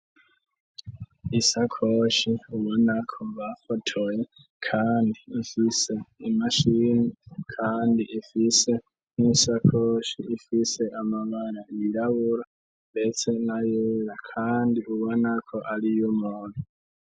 Isakoshi ubo nako mva fotoye, kandi ifise imashini, kandi ifise n'insakoshi ifise amabana yirabura mbetse nayera, kandi ubanako ari yo umuntu.